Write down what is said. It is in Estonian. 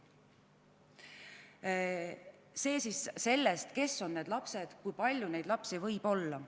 Niipalju siis sellest, kes on need lapsed ja kui palju neid võib olla.